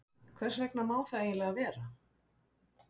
Hvers vegna má það eiginlega vera?